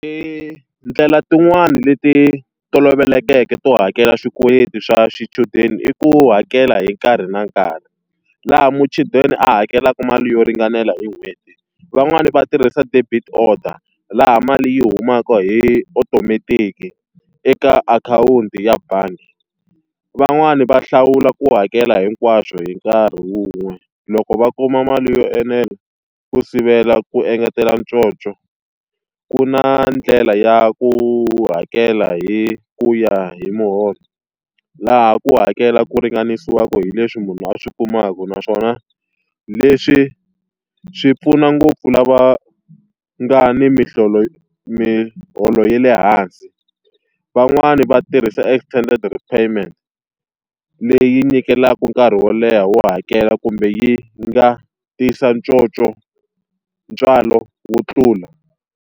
Ndlela tin'wani leti tolovelekeke to hakela swikweleti swa swichudeni i ku hakela hi nkarhi na nkarhi, laha muchudeni a hakelaka mali yo ringanela hi n'hweti. Van'wani va tirhisa debit order, laha mali yi humaka hi automatic eka akhawunti ya bangi. Van'wani va hlawula ku hakela hinkwaswo hi nkarhi wun'we loko va kuma mali yo enela ku sivela ku engetela conco. Ku na ndlela ya ku hakela hi ku ya hi muholo, laha ku hakela ku ringanisiwaka hi leswi munhu a swi kumaka naswona leswi swi pfuna ngopfu lava nga ni miholo ya le hansi. Van'wani va tirhisa extended repayment leyi, nyikelaka nkarhi wo leha wo hakela kumbe yi nga tisa conco ntswalo wo tlula.